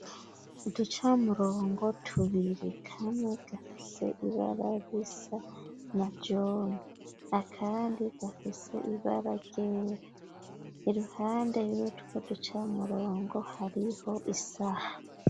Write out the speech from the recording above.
Uducamurongo tubiri kamwe gafise ibara risa na jone akandi gafise ibara ryera , iruhande yutwo ducamurongo hariho isaha.